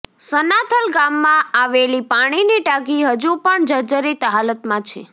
સનાથલ ગામમાં આવેલી પાણીની ટાંકી હજુ પણ જર્જરિત હાલતમાં છે